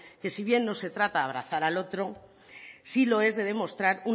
que si bien no se trata de abrazar al otro sí lo es de demostrar